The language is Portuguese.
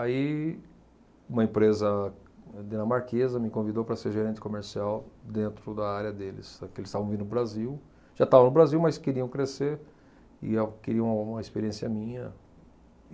Aí, uma empresa dinamarquesa me convidou para ser gerente comercial dentro da área deles, porque eles estavam vindo para o Brasil, já estavam no Brasil, mas queriam crescer e queriam uma experiência minha.